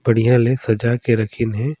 बढ़िया ले सजा के रखीन हे।